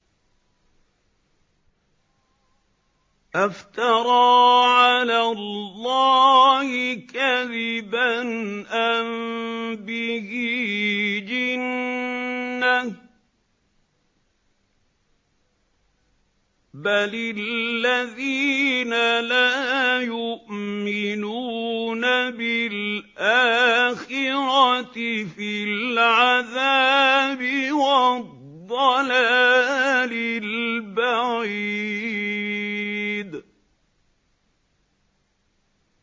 أَفْتَرَىٰ عَلَى اللَّهِ كَذِبًا أَم بِهِ جِنَّةٌ ۗ بَلِ الَّذِينَ لَا يُؤْمِنُونَ بِالْآخِرَةِ فِي الْعَذَابِ وَالضَّلَالِ الْبَعِيدِ